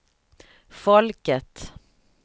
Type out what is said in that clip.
folket